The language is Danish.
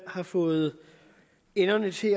har fået enderne til